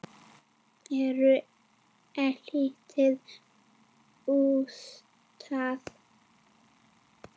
Eyrun eilítið útstæð.